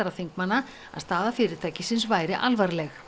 þingmanna að staða fyrirtækisins væri alvarleg